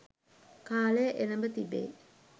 කාලය එළඹ තිබේ.